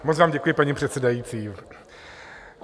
Moc vám děkuji, paní předsedající.